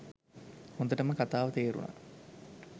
හොදටම කතාව තේරුනා.